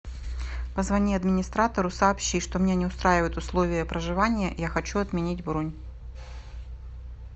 позвони администратору сообщи что меня не устраивают условия проживания я хочу отменить бронь